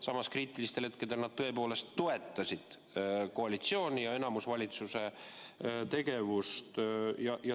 Samas, kriitilistel hetkedel nad tõepoolest toetasid koalitsiooni ja enamusvalitsuse tegevust.